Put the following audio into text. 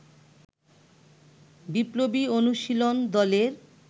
বিপ্লবী অনুশীলন দলের